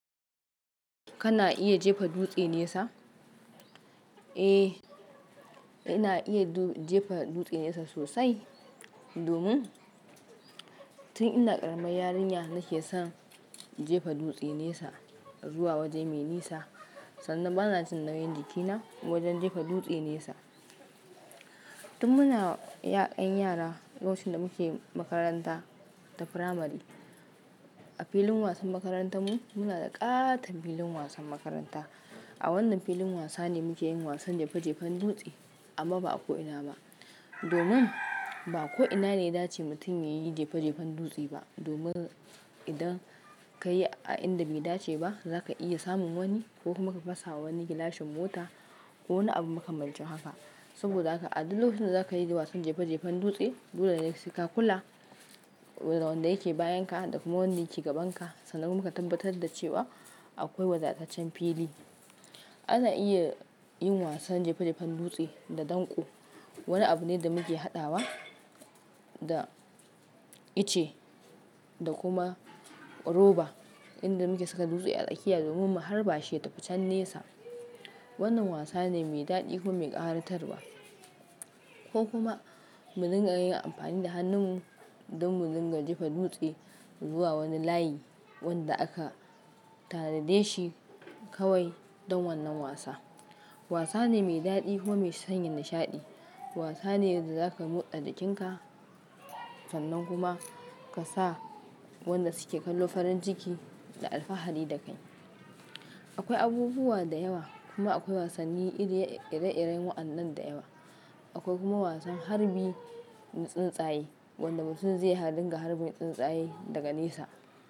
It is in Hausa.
Kana iya jefa dutse nesa? Eh, ina iya jefa dutse nesa sosai. Domin tun ina ƙaramar yarinya nake son jefa dutse nesa. Zuwa waje mai nesa, sannan bana jin nauyin jikina wajen jefa dutse nesa. Tun muna ‘yan yara. Lokacin da muke makaranta ta firamare. A filin wasan makarantar mu, muna da ƙaton filin wasan makaranta. A wannan filin wasa ne muke yin wasan jefa jefan dutse amma ba a ko ina ba. Domin ba ko ina ne ya dace mutum ya yi jefe-jefen dutse ba. Domin idan ka yi a inda bai dace ba, za ka iya samun wani ko kuma ka fasawa wani gilashin mota ko wani abu muka makamancin haka. Saboda haka a duk lokacin da za ka yi wasan jefen-jefen dutse, dole ne sai ka kula da wanda yake bayanka, da kuma wanda yake gabanka, sannan kuma ka tabbatar da cewa akwai wadataccen fili. Ana iya yin wasan jefe-jefen dutse da danƙo. Wani abu ne da muke haɗawa da itace da kuma roba inda muke saka dutse a tsakiya domin mu harba shi ya tafi can nesa. Wannan wasa ne mai daɗi kuma mai ƙaratarwa ko kuma, mu dinga yin amfani da hannunmu don mu dinga jefa dutse zuwa wani layi wanda aka tanade shi kawai don wannan wasa. Wasa ne mai daɗi kuma mai sanya nishaɗi. Wasa ne da za ka motsa jikinka sannan kuma, ka sa wanda suke kallo farin ciki da alfahari da kai. Akwai abubuwa da yawa, kuma akwai wasanni ire-ire waɗannan da yawa. Akwai kuma wasan harbi na tsuntsaye. Wanda mutum zai ɗinga harbin tsuntsaye daga nesa.